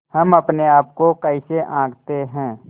हम अपने आप को कैसे आँकते हैं